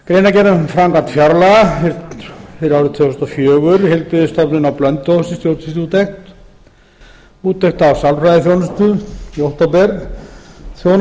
greinargerð um framkvæmd fjárlaga fyrir árið tvö þúsund og fjögur heilbrigðisstofnun á blönduósi stjórnsýsluúttekt úttekt á sálfræðiþjónustu í október úttekt